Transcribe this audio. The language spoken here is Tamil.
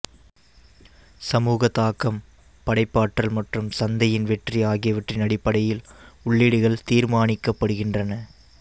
சமூக தாக்கம் படைப்பாற்றல் மற்றும் சந்தையின் வெற்றி ஆகியவற்றின் அடிப்படையில் உள்ளீடுகள் தீர்மானிக்கப்படுகின்றன